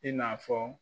I n'a fɔ